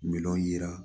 Minɛnw yira